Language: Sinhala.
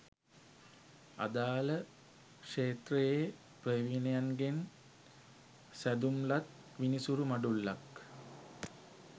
අදාළ ක්ෂේත්‍රයේ ප්‍රවීණයන්ගෙන් සැදුම්ලත් විනිසුරු මඩුල්ලක්